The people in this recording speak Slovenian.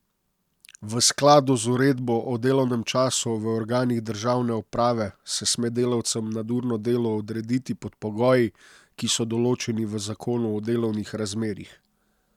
V skladu z uredbo o delovnem času v organih državne uprave se sme delavcem nadurno delo odrediti pod pogoji, ki so določeni v zakonu o delovnih razmerjih.